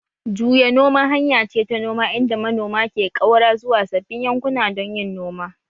Juya noma hanya ce ta noma inda manoma ke ƙaura zuwa sabbin yankuna don yin noma